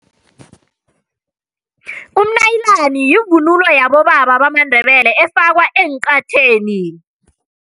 Umnayilani yivunulo yabobaba bamaNdebele efakwa encatheni.